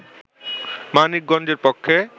মানিক গঞ্জের পক্ষে